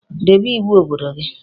Debe iwu obodo gi